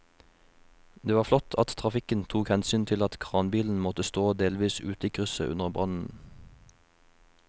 Det var flott at trafikken tok hensyn til at kranbilen måtte stå delvis ute i krysset under brannen.